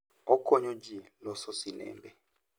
Okonyo tij loso sinembe.